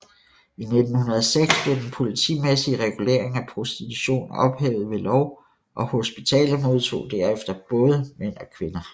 I 1906 blev den politimæssige regulering af prostitution ophævet ved lov og hospitalet modtog derefter både mænd og kvinder